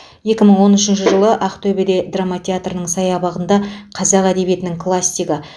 екі мың он үшінші жылы ақтөбеде драма театрының саябағында қазақ әдебиетінің классигі